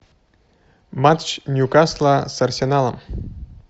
матч ньюкасла с арсеналом